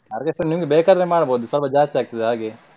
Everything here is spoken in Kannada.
Orchestra ಎಲ್ಲ ನಿಮಗೆ ಬೇಕಾದ್ರೆ ಮಾಡಬೋದು ಸ್ವಲ್ಪ ಜಾಸ್ತಿ ಆಗ್ತದೆ ಹಾಗೆ.